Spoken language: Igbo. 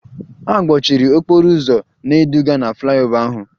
A gbochiri okporo ụzọ na-eduga na flyover ahụ